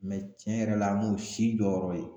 tiɲɛ yɛrɛ la an m'o si jɔyɔrɔ ye.